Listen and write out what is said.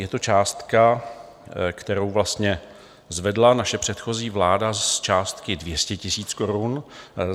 Je to částka, kterou vlastně zvedla naše předchozí vláda z částky 200 000 korun.